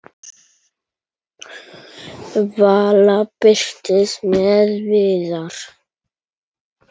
Vala birtist með Viðari.